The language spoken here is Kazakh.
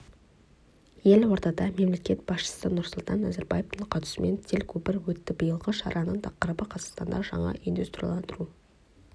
елордада мемлекет басшысы нұрсұлтан назарбаевтың қатысуымен телекөпір өтті биылғы шараның тақырыбы қазақстандағы жаңа индустрияландыру орнықты даму мен прогресс үшін деп аталды